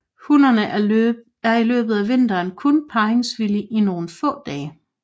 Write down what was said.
Hunnen er i løbet af vinteren kun parringsvillig i nogle få dage